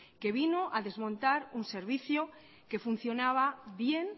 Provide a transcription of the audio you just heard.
que vino a desmontar un servicio que funcionaba bien